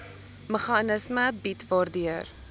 meganisme bied waardeur